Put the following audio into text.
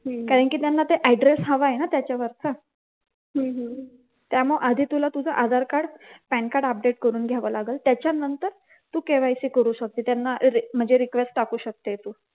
कारण की त्यांना ते address हवाय ना त्याच्या वरचा त्यामुळ आधी तुला तुझ आधारकार्ड पॅनकार्ड update करून घ्याव लागल त्याच्या नंतर तू KYC करू शकते त्यांना म्हणजे request टाकू शकते तू